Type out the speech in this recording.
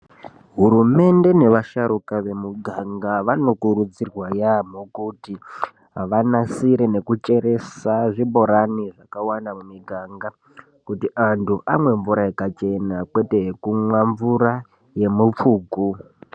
Hurumende nevasharukwa vemuganga vanokurudzirwa yaamho kuti vanasire nekucheresa zvibhorani zvakawanda mumiganga kuti antu amwe mvura yakachena kwete kumwa mvura yemufuku